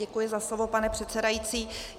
Děkuji za slovo, pane předsedající.